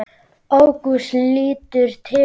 Ágúst lítur til hans.